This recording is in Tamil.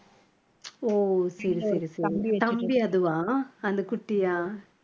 ஓ சரி சரி சரி தம்பி அதுவா அந்த குட்டியா